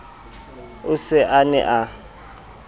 o se a ne a